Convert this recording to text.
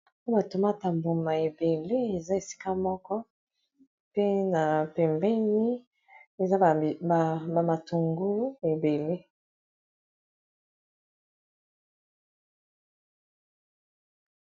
pe batomate mboma ebele eza esika moko pe na pembeni eza bamatungulu ebele